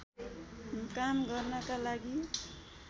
काम गर्नका लागि